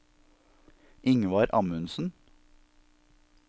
Ingvar Amundsen